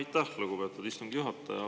Aitäh, lugupeetud istungi juhataja!